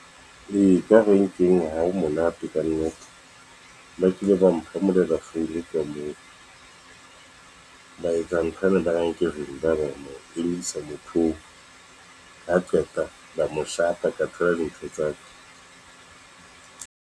Ee, ka renkeng ha ho monate kannete, ba kile ba mphamolela founu ka moo. Ba etsa ntho yane, ba reng ke vimbaba, ba mo emisa motho oo ha qeta, ba mo shapa ka thola dintho tsa ka.